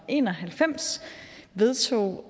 en og halvfems vedtog